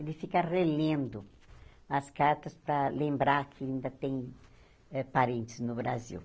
Ele fica relendo as cartas para lembrar que ainda tem eh parentes no Brasil.